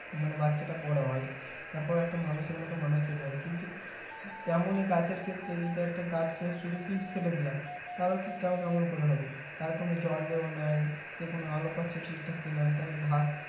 মানে বাচ্ছাটা বড়ো হয় তার পর একটা মানুষের মতো মানুষ তৈরি হয় কিন্তু তেমনি গাছের ক্ষেত্রে যদি একটা গাছ কে শুধু বীজ ফেলে দিলাম তাহলে কি কেমন করে হবে তার কোনো জল দেওয়া নাই সে কোনো আলো পাচ্ছে ঠিকঠাক কি না তাকে ঘা